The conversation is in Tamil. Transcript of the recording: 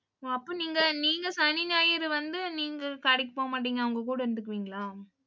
அப்ப நீங்க, நீங்க சனி, ஞாயிறு வந்து நீங்க கடைக்கு போக மாட்டீங்க. அவங்க கூட இருந்துக்குவீங்களா